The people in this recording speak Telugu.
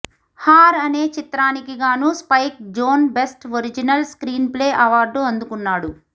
హర్ అనే చిత్రానికి గాను Spike Jonze best original screenplay award అందుకున్నాడు